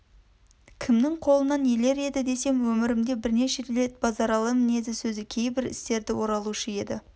кімнің қолынан елер еді десем өмірімде бірнеше рет базаралы мінезі сөзі кейбір істері оралушы еді